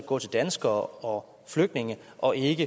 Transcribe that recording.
gå til danskere og flygtninge og ikke